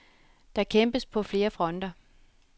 Der kæmpes på flere fronter.